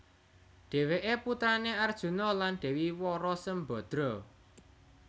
Dhèwèké putrané Arjuna lan Dèwi Wara Sembadra